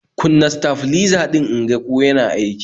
Kunna stafliza din inga ko yana aiki